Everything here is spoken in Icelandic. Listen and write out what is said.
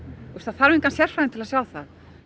það þarf engan sérfræðing til að sjá það